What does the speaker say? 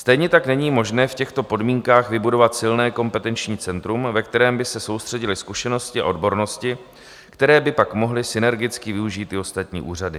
Stejně tak není možné v těchto podmínkách vybudovat silné kompetenční centrum, ve kterém by se soustředily zkušenosti a odbornosti, které by pak mohly synergicky využít i ostatní úřady.